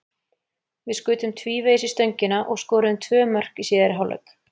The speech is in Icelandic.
Við skutum tvívegis í stöngina og skoruðum tvö mörk í síðari hálfleik.